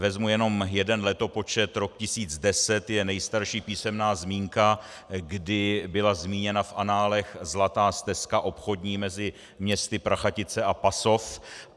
Vezmu jenom jeden letopočet - rok 1010 je nejstarší písemná zmínka, kdy byla zmíněna v análech Zlatá stezka obchodní mezi městy Prachatice a Pasov.